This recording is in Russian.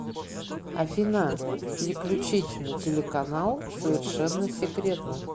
афина переключить на телеканал совершенно секретно